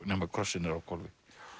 nema krossinn er á hvolfi